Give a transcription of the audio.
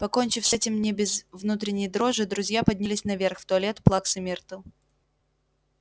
покончив с этим не без внутренней дрожи друзья поднялись наверх в туалет плаксы миртл